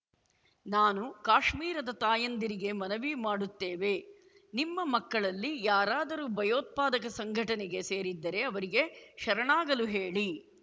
ನಾನು ಕಾಶ್ಮೀರದ ತಾಯಂದಿರಿಗೆ ಮನವಿ ಮಾಡುತ್ತೇವೆ ನಿಮ್ಮ ಮಕ್ಕಳಲ್ಲಿ ಯಾರಾದರೂ ಭಯೋತ್ಪಾದಕ ಸಂಘಟನೆಗೆ ಸೇರಿದ್ದರೆ ಅವರಿಗೆ ಶರಣಾಗಲು ಹೇಳಿ